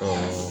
Ɛɛ